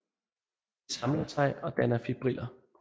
De samler sig og danner fibriller